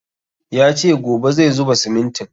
Ya ce gobe zai zuba simintin